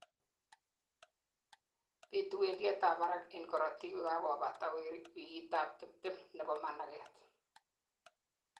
bitu wendiet ab barak en karotik kokakobata wikitab tibtem nebo managet